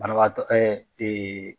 Banabagatɔ